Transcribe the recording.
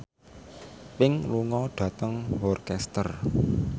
Pink lunga dhateng Worcester